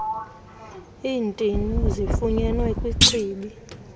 iintini zifunyenwe kwichibi